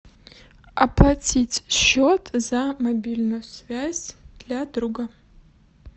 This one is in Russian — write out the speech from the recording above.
оплатить счет за мобильную связь для друга